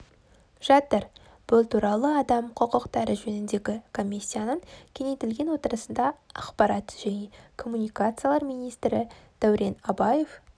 жатыр бұл туралы адам құқықтары жөніндегі комиссияның кеңейтілген отырысында ақпарат және коммуникациялар министрі дәурен абаев